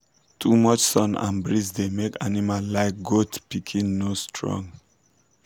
too much sun and breeze da make animal like goat pikin no strong